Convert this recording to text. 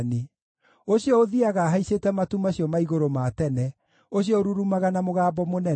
ũcio ũthiiaga ahaicĩte matu macio ma igũrũ ma tene, ũcio ũrurumaga na mũgambo mũnene.